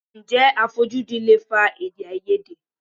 Ǹjẹ́ àfojúdi lè fa Èdèáiyedé?